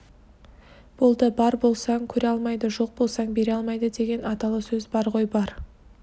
болды бар болсаң көре алмайды жоқ болсаң бере алмайды деген аталы сөз бар ғой бар